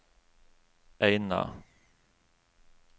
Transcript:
Eina